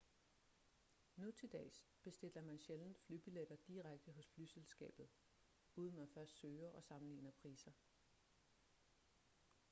nu til dags bestiller man sjældent flybilletter direkte hos flyselskabet uden man først søger og sammenligner priser